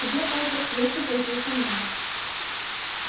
тебе поттер лучше пойти со мной